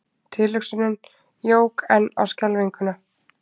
Tilhugsunin jók enn á skelfinguna.